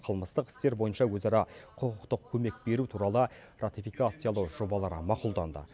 қылмыстық істер бойынша өзара құқықтық көмек беру туралы ратификациялау жобалары мақұлданды